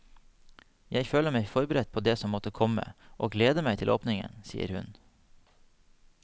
Jeg føler meg forberedt på det som måtte komme, og gleder meg til åpningen, sier hun.